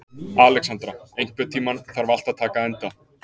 Alexandra, einhvern tímann þarf allt að taka enda.